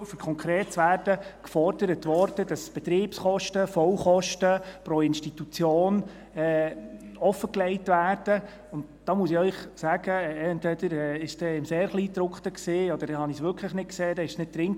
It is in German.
Dort wurde beispielsweise gefordert, dass die Betriebskosten, Vollkosten pro Institution, offengelegt werden, und da muss ich Ihnen sagen: Entweder war es im sehr Kleingedruckten, oder dann habe ich es wirklich nicht gesehen, dann war es nicht drin.